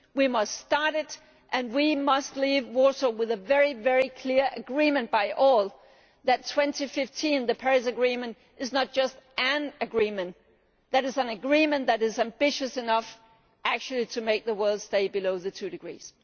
We must start it and we must leave Warsaw with a very clear agreement among all that 2015, the Paris Agreement, is not just an agreement, but that it is an agreement that is ambitious enough actually to make the world stay below the two degrees.